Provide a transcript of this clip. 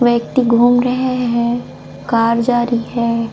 व्यक्ति घूम रहै है कार जा री हैं।